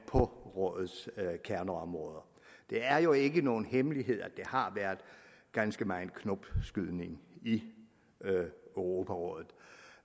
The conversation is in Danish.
på rådets kerneområder det er jo ikke nogen hemmelighed at der har været ganske megen knopskydning i europarådet